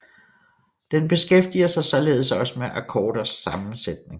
Den beskæftiger sig således også med akkorders sammensætning